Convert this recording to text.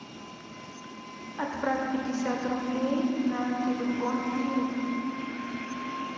отправь пятьдесят рублей на телефон иры